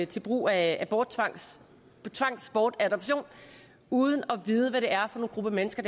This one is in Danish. til brug af tvangsbortadoption uden at vide hvad det er for en gruppe mennesker